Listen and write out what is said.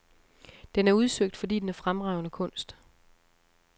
Den er udsøgt, fordi den er fremragende kunst.